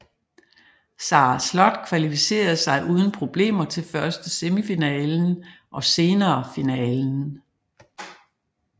Sara Slott kvalificerede sig uden problemer til først semifinalen og senere finalen